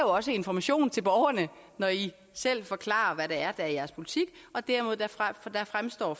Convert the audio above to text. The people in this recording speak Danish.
også information til borgerne når i selv forklarer hvad det er der er jeres politik og derved fremstår